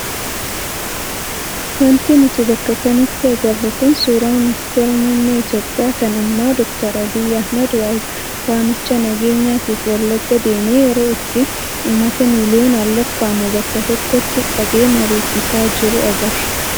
Wanti nuti bakka kanatti agarru kun suuraa ministeera muummee Itoophiyaa kan ammaa doktar Abiyyii Ahmad waamicha nageenyaatiif Wallaggaa deemee yeroo itti uummata miliyoonaan lakkaa'amu bakka tokkotti qabee mariisisaa jiru agarra.